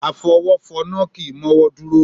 Afọwọ́fọmá kì í mọ́wọ́ dúró.